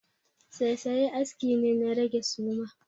Saisaye aski ne na rage suma.